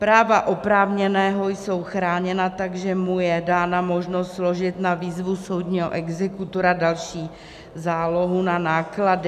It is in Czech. Práva oprávněného jsou chráněna, takže mu je dána možnost složit na výzvu soudního exekutora další zálohu na náklady.